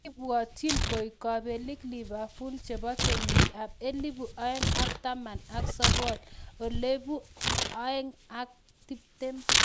Kebwotyin koeek kobelik Liverpool chibo kenyit ab elebu oeng ak taman ak sokol /elebu oeng ak tiptem